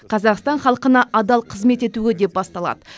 қазақстан халқына адал қызмет етуге деп басталады